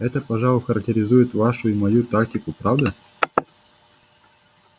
это пожалуй характеризует вашу и мою тактику правда